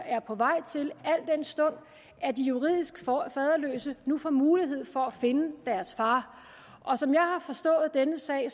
er på vej til al den stund at de juridisk faderløse nu får mulighed for at finde deres far som jeg har forstået denne sag